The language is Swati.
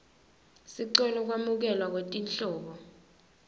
sicelo sekwamukelwa kwetinhlobo